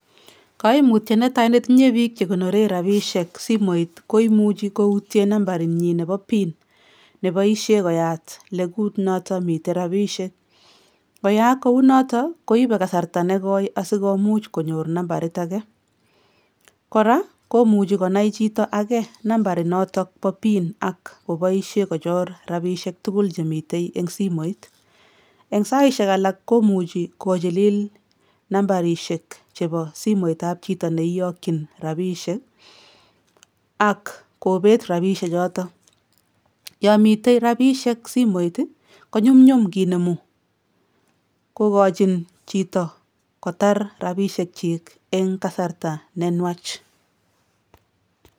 Koimitiet netaai nitinyei biik che konore robinik simooit ko imuchi koutye nambarit nyo nebo pin neboishe koyaat legut noto mitei robishek. Ngoyaak kounoto koibei kasarta negooi asikomuch konyor nambarit age. Kora komuchi konai chito age nambarit noto bo pin akoboishe kochor robishe tugul chemitei eng simooit. Eng saaishek alak komuchi kochilil nambarishek chebo simootab chito neiyokyin robishek ak kobeet robishek choto. Yamitei robishek simooit konyunyum kinemu kokachin chito katar rabishek chik eng kasarta nenwach.